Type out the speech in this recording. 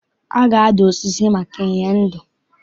A ga-adụ osisi maka inye ndo.